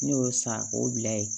Ne y'o san k'o bila yen